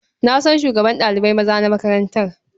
Na san shugaban ɗalibai maza na makarantar.